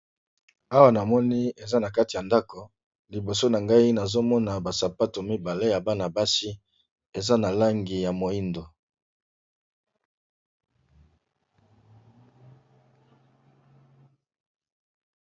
Awa, na moni eza na kati ya ndako. Liboso na ngai, nazomona basapato mibale ya bana-basi eza na langi ya moindo.